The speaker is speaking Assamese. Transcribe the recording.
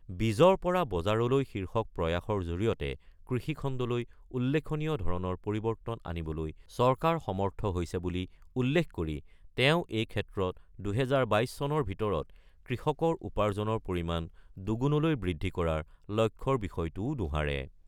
বীজৰ পৰা বজাৰলৈ শীৰ্ষক প্ৰয়াসৰ জৰিয়তে কৃষি খণ্ডলৈ উল্লেখনীয় ধৰণৰ পৰিৱৰ্তন আনিবলৈ চৰকাৰ সমৰ্থ হৈছে বুলি উল্লেখ কৰি তেওঁ এই ক্ষেত্ৰত ২০২২ চনৰ ভিতৰত কৃষকৰ উপাৰ্জনৰ পৰিমাণ দুগুণলৈ বৃদ্ধি কৰাৰ লক্ষ্যৰ বিষয়টোও দোহাৰে।